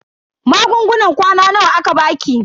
Magungunan kwana nawa aka baki?